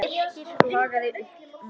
Birkir lagði upp markið.